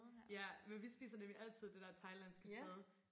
Ja men vi spiser nemlig altid det der thailandske sted